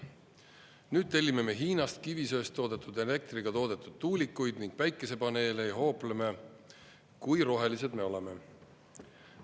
Nüüd tellime me Hiinast kivisöest toodetud elektriga toodetud tuulikuid ning päikesepaneele ja hoopleme, kui rohelised me oleme.